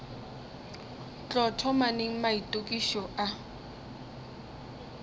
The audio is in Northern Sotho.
tlo thoma neng maitokišo a